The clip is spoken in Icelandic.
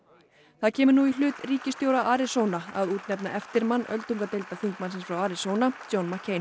það kemur nú í hlut ríkisstjóra að útnefna eftirmann öldungadeildarþingmannsins frá Arizona John